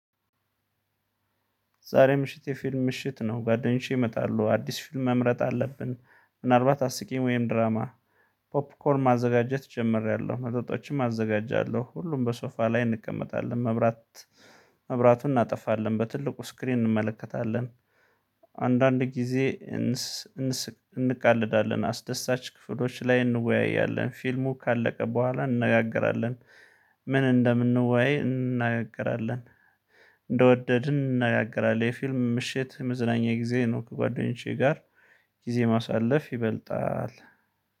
ዛሬ ምሽት የፊልም ምሽት ነው። ጓደኞቼ ይመጣሉ አዲስ ፊልም መምረጥ አለብን ምናልባት አስቂኝ ወይም ድራማ። ፖፕኮርን ማዘጋጀት ጀምሬያለሁ መጠጦችም አዘጋጃለሁ። ሁሉም በሶፋ ላይ እንቀመጣለን መብራት መብራቱን እናጠፋለን በትልቁ ስክሪን እንመለከታለን። አንዳንድ ጊዜ እንቃለዳለን አስደሳች ክፍሎች ላይ እንወያያለን። ፊልሙ ካለቀ በኋላ እንነጋገራለን። ምን እንደምን ነው ዋይ እንነጋገራለን? እንደወደድን እናጋግራለን የፊልም ምሽት መዝናኛ ጊዜ ነው። ከጓደኞቼ ጋር ጊዜ ማሳለፍ ይበልጣል